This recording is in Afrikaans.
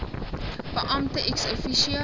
beampte ex officio